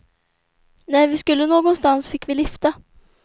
När vi skulle någonstans fick vi lifta.